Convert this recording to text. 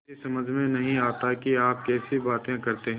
मेरी समझ में नहीं आता कि आप कैसी बातें करते हैं